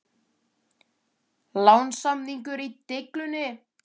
Lánssamningur í deiglunni?